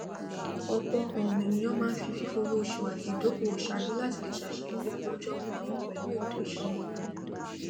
ọpọ um ènìyàn máa ń fi fífowóṣùn àti ìdókòwò ṣáájú láti le ṣàṣeyọrí ọlójóó gbooro pẹlú ètò ìsúná wọn